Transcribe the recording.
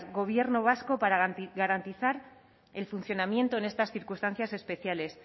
gobierno vasco para garantizar el funcionamiento en estas circunstancias especiales